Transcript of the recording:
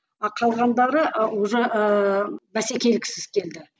а қалғандары уже ііі бәсекеліксіз келді